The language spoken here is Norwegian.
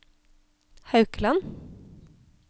Haukeland